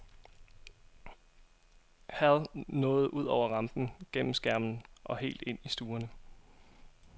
Hal nåede ud over rampen, gennem skærmen og helt ind i stuerne.